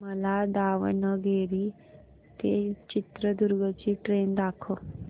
मला दावणगेरे ते चित्रदुर्ग ची ट्रेन दाखव